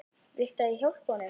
Viltu að ég hjálpi honum?